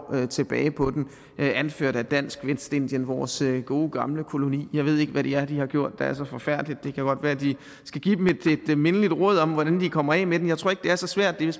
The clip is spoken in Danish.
tilbage på den anført af dansk vestindien vores gode gamle koloni jeg ved ikke hvad det er de har gjort der er så forfærdeligt det kan godt være at de skal give dem et mindeligt råd om hvordan de kommer af med dem jeg tror ikke det er så svært det er